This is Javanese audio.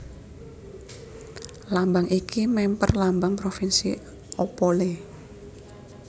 Lambang iki mèmper Lambang Provinsi Opole